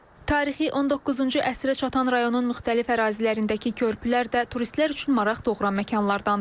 Tarixi 19-cu əsrə çatan rayonun müxtəlif ərazilərindəki körpülər də turistlər üçün maraq doğuran məkanlardandır.